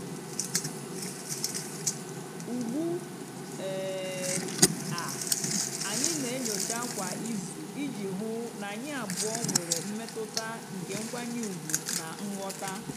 ugbu um a anyị na-enyocha kwa izu iji hụ na anyị abụọ nwere mmetụta nke nkwanye ùgwù na nghọta.